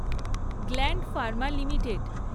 gland Pharma limited